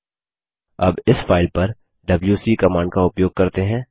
अब इस फाइल पर डबल्यूसी कमांड का उपयोग करते हैं